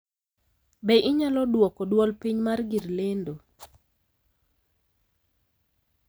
Be inyalo dwoko dwol piny mar gir lendo?